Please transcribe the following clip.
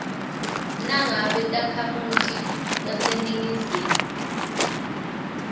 nangabe takhamiti taseningizimu